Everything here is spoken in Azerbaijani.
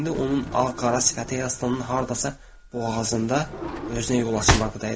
İndi onun ağ-qara sifəti Herstonun hardasa boğazında özünə yol açmaqda idi.